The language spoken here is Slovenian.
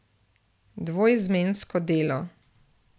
Dvoizmensko delo.